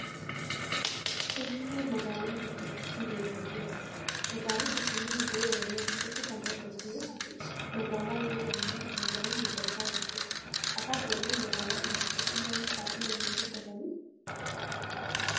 Finfinneen magaalaa guddittii biyya Itoophiyaati. Magaalaan Finfinnee handhuura Oromiyaa keessatti kan argamtu yoo taatu magaalaa yeroo ammaa kana daraan guddachaa jirtudha. Afaan Oromoo magaalaa kana keessatti maalif baay'inaan hin dubbatamu?